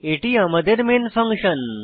এটি আমাদের main function